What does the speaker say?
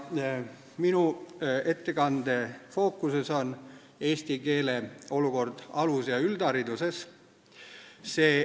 Minu ettekande fookuses on eesti keele olukord alus- ja üldhariduses.